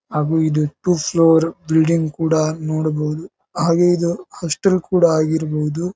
ಹಾಗು ಇದು two floor building ಕೂಡ ನೋಡಬಹುದು ಹಾಗೆ ಇದು ಹಾಸ್ಟೆಲ್ ಕೂಡ ಆಗಿರಬಹುದು.